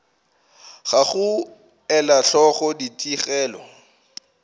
ga go ela hloko ditigelo